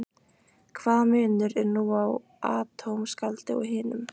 Hvaða munur er nú á atómskáldi og hinum?